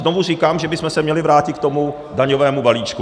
Znovu říkám, že bychom se měli vrátit k tomu daňovému balíčku.